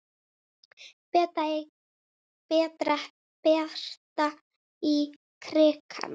Berta í krikann?